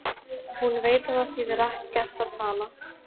Hún veit að það þýðir ekkert að tala.